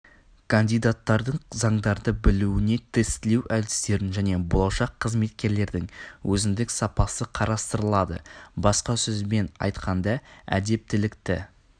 кандидаттардың заңдарды білуіне тестілеу әдістерін және болашақ қызметкерлердің өзіндік сапасы қарастырылады басқа сөзбен айтқанда әдептілікті